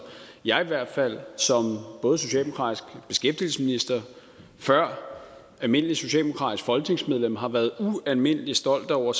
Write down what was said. jeg i hvert fald som både socialdemokratisk beskæftigelsesminister og før almindeligt socialdemokratisk folketingsmedlem har været ualmindelig stolt over